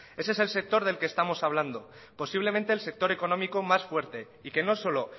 ese es el sector del que estamos hablando posiblemente el sector económico más fuerte y que no solo